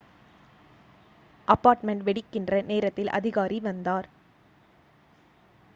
apartment வெடிக்கின்ற நேரத்தில் அதிகாரி வந்தார்